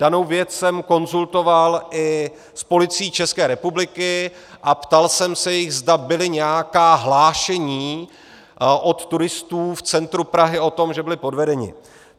Danou věc jsem konzultoval i s Policií České republiky a ptal jsem se jich, zda byla nějaká hlášení od turistů v centru Prahy o tom, že byli podvedeni.